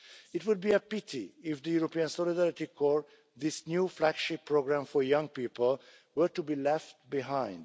It would be a pity if the European Solidarity Corps, this new flagship programme for young people, were to be left behind.